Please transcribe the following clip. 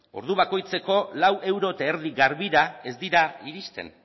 ordu bakoitzeko lau koma bost euro garbira ez dira iristen